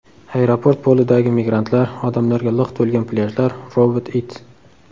Aeroport polidagi migrantlar, odamlarga liq to‘lgan plyajlar, robot it.